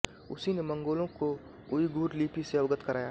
उसी ने मंगोलों को उईग़ुर लिपि से अवगत कराया